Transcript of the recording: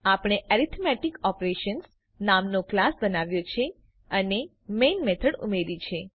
આપણે arithmetic operations નામનો class બનાવ્યો છે અને મેઇન મેથડ ઉમેર્યી છે